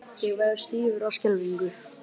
Ég varð stífur af skelfingu.